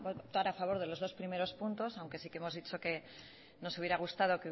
votar a favor de los dos primeros puntos aunque sí que hemos dicho nos hubiera gustado